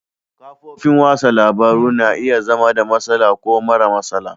Kafofin wasan labaru na iya zama da matsala ko mara matsala.